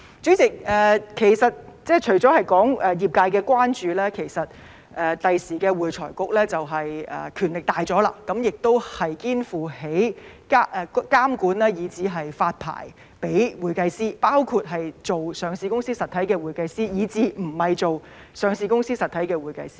主席，除了業界的關注，其實未來會財局的權力大了，肩負起監管以至發牌予會計師的責任，包括做上市實體的會計師以至不是做上市實體的會計師。